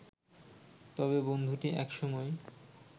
তবে বন্ধুটি এক সময়